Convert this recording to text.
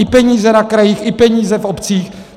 I peníze na krajích, i peníze v obcích.